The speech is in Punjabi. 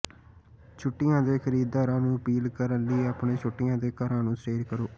ਛੁੱਟੀਆਂ ਦੇ ਖਰੀਦਦਾਰਾਂ ਨੂੰ ਅਪੀਲ ਕਰਨ ਲਈ ਆਪਣੇ ਛੁੱਟੀਆਂ ਦੇ ਘਰਾਂ ਨੂੰ ਸਟੇਜ ਕਰੋ